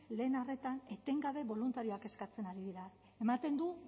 lehen arretan etengabe boluntarioak eskatzen ari dira ematen du